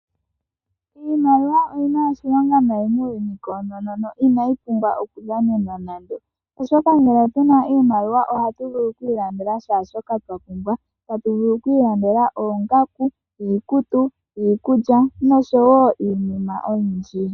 Iimaliwa oyina oshilonga nayi muuyuni koonono inayi pumbwa oku dhanenwa nande, oshoka ngele tuna iimaliwa ohatu vulu oku ilandela kehe shoka twa pumbwa tatu vulu oku ilandela oongaku, iikutu, iikulya nosho iinima oyindji.